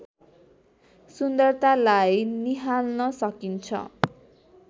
सुन्दरतालाई निहाल्न सकिन्छ